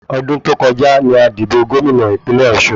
Ọdún tó kọjá ni a dìbò Gómìnà ìpínlẹ̀ ọ̀sun